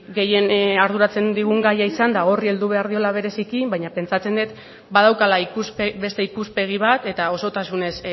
gehien arduratzen digun gaia izanda horri heldu behar diola bereziki baina pentsatzen dut badaukala beste ikuspegi bat eta osotasunez